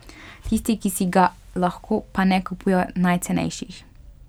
Tisti, ki si ga lahko, pa ne kupujejo najcenejših.